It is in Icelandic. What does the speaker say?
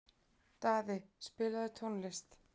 Daði, spilaðu tónlist.